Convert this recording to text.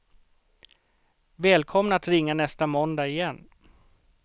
Välkomna att ringa nästa måndag igen.